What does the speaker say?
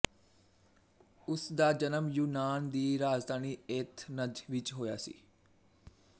ਉਸ ਦਾ ਜਨਮ ਯੂਨਾਨ ਦੀ ਰਾਜਧਾਨੀ ਏਥਨਜ ਵਿੱਚ ਹੋਇਆ ਸੀ